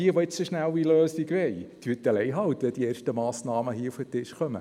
Die Punkte 4–7 wurden zurückgezogen.